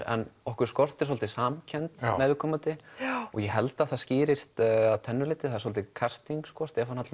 en okkur skortir svolítið samkennd með viðkomandi og ég held að það skýrist að tvennu leyti það er svolítið casting Stefán